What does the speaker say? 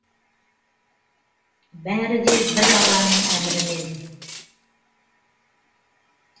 бәрі де бір алланың әмірімен